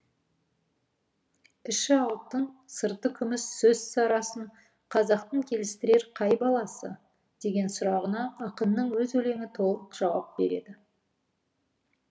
іші алтын сырты күміс сөз сарасын қазақтың келістірер қай баласы деген сұрағына ақынның өз өлеңі толық жауап береді